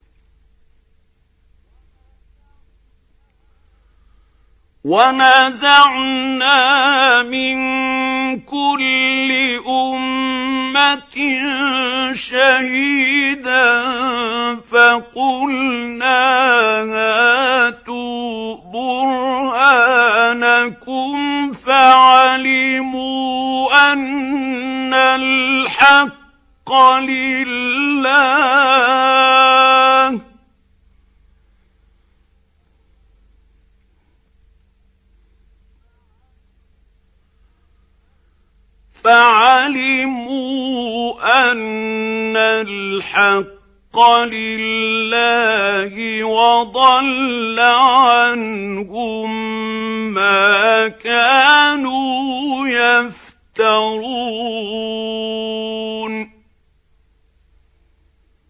وَنَزَعْنَا مِن كُلِّ أُمَّةٍ شَهِيدًا فَقُلْنَا هَاتُوا بُرْهَانَكُمْ فَعَلِمُوا أَنَّ الْحَقَّ لِلَّهِ وَضَلَّ عَنْهُم مَّا كَانُوا يَفْتَرُونَ